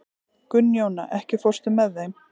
Gunnjóna, ekki fórstu með þeim?